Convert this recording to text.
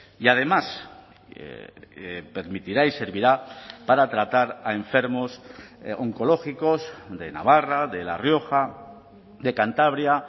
y además permitirá y servirá para tratar a enfermos oncológicos de navarra de la rioja de cantabria